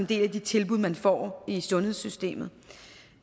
del af de tilbud man får i sundhedssystemet